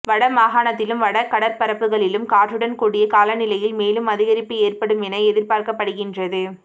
வட மாகாணத்திலும் வட கடற்பரப்புகளிலும் காற்றுடன் கூடிய காலநிலையில் மேலும் அதிகரிப்பு ஏற்படும் என எதிர்பார்க்கப்படுகின்றது